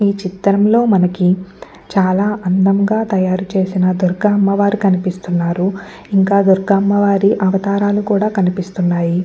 ఈ చిత్రం లో మనకి చాలా అందంగా తయారు చేసిన దుర్గా అమ్మవారు కనిపిస్తున్నరు ఇంకా దుర్గా అమ్మవారి అవతారాలు కూడా కనిపిస్తున్నాయి.